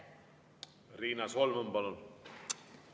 Riina Solman, palun!